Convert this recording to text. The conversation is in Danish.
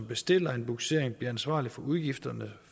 bestiller en bugsering bliver ansvarlig for udgifterne